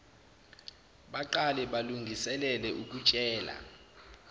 baqale balungiselele ukutshela